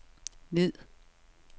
ned